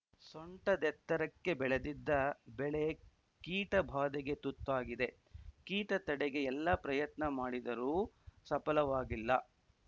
ಸೊಂಟದೆತ್ತರೆಕ್ಕೆ ಬೆಳೆದಿದ್ದ ಬೆಳೆ ಕೀಟಭಾಧೆಗೆ ತುತ್ತಾಗಿದೆ ಕೀಟ ತಡೆಗೆ ಎಲ್ಲ ಪ್ರಯತ್ನ ಮಾಡಿದರೂ ಸಪಲವಾಗಿಲ್ಲ